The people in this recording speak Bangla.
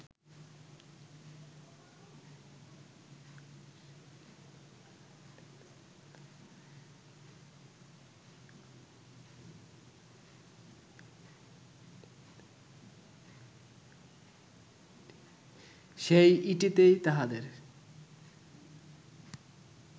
সেই ইটেতেই তাহাদের